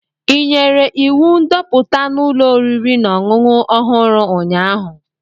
Ị nyere iwu ndoputa n'ụlọ oriri na ọṅụṅụ ọhụrụ, ụnyahụ?